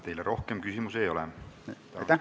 Teile rohkem küsimusi ei ole.